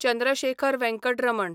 Chandrashekhar Venkat Raman